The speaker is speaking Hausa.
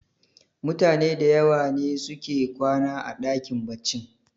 mutane da yawa ne suke kwana a dakin baccin